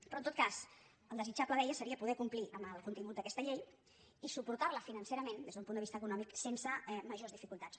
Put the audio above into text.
però en tot cas el desitjable deia seria poder complir amb el contingut d’aquesta llei i suportar la financerament des d’un punt de vista econòmic sense majors dificultats